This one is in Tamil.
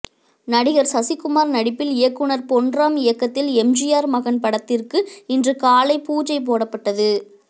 நடிகர் சசிகுமார் நடிப்பில் இயக்குனர் பொன்ராம் இயக்கத்தில் எம்ஜிஆர் மகன் படத்திற்கு இன்று காலை பூஜை போடப்பட்டது